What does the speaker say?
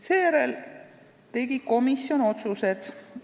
Seejärel tegi komisjon otsused.